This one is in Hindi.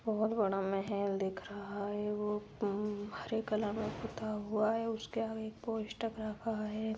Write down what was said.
बहुत बड़ा महल दिख रहा है वो हरे कलर में पुता हुआ है उसके आगे पोस्टर लगा हुआ है।